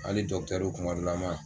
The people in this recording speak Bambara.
Hali kumadɔlama.